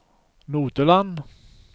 Nodeland